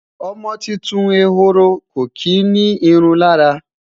ọmọ tuntun ehoro kò kí ni irun lára